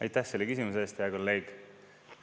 Aitäh, selle küsimuse eest, hea kolleeg!